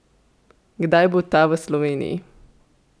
Kdaj bo ta v Sloveniji?